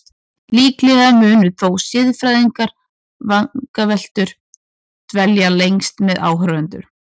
Líklega munu þó siðfræðilegar vangaveltur dvelja lengst með áhorfendum.